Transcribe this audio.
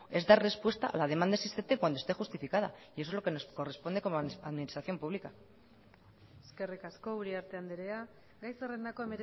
es dar respuesta a la demanda existente cuando esté justificada y eso es lo que nos corresponde como administración pública eskerrik asko uriarte andrea gai zerrendako